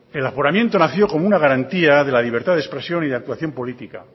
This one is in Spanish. el aforamiento nació como una garantía de la libertad de expresión y de actuación política